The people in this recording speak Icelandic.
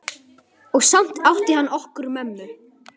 Og samt átti hann okkur mömmu.